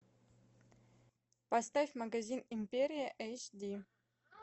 поставь магазин империя эйч ди